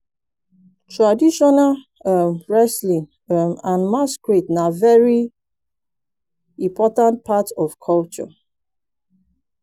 traditional um wrestling um and masquerade na very important part of culture